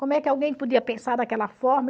Como é que alguém podia pensar daquela forma?